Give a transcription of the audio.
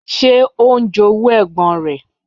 Ṣé ó ń jowú ẹ̀gbọ́n rẹ̀?